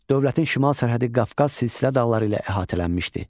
Dövlətin şimal sərhədi Qafqaz Silsilə dağları ilə əhatələnmişdi.